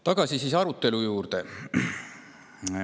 Tagasi arutelu juurde.